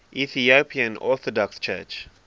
ethiopian orthodox church